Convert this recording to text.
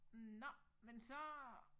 Nå men så